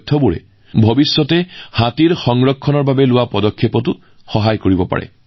এই তথ্যৰ ব্যৱহাৰে ভৱিষ্যতে হাতী সংৰক্ষণৰ ক্ষেত্ৰতো সহায়ক হব